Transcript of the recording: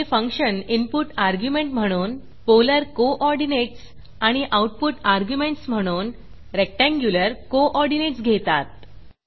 हे function input argument म्हणून polar coordinates आणि आऊटपुट अर्ग्युमेंटस म्हणून रेक्टँग्युलर कोऑर्डिनेटस घेतात